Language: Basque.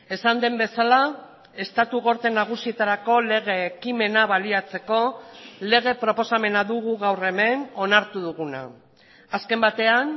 esan den bezala estatu gorte nagusietarako lege ekimena baliatzeko lege proposamena dugu gaur hemen onartu duguna azken batean